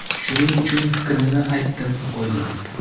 Shuning uchun fikrimni aytdim-qo‘ydim.